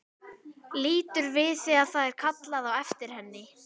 Lítur við þegar það er kallað á eftir henni.